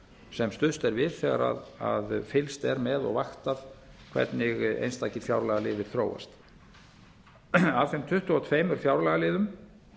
sem stuðst er við þegar fylgst er með og vaktað hvernig einstakir fjárlagaliðir þróast af þeim tuttugu og tvö fjárlagaliðum